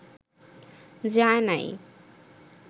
যায় নাই